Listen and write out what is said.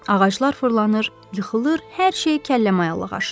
Ağaclar fırlanır, yıxılır, hər şey kəllə mayallaq aşır.